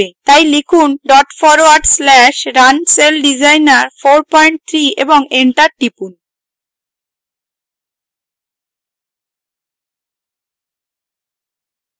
তাই লিখুন dot forward slash runcelldesigner43 এবং enter টিপুন